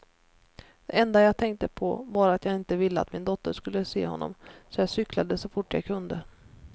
Det enda jag tänkte på var att jag inte ville att min dotter skulle se honom, så jag cyklade så fort jag kunde.